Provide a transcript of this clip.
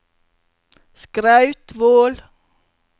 Skrautvål